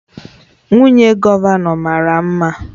Nwunye gọvanọ mara mma